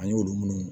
An y'olu munnu